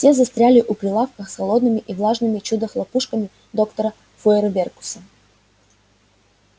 те застряли у прилавка с холодными и влажными чудо-хлопушками доктора фойерверкуса